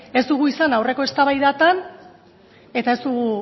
ez dugu izan aurreko eztabaidatan eta ez dugu